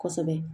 Kosɛbɛ